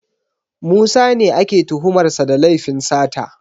Musa ne ake tuhumar sa da laifin sata